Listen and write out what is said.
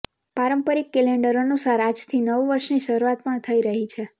પારંપરિક કેલેન્ડર અનુસાર આજથી નવ વર્ષની શરૂઆત પણ થઈ રહી છે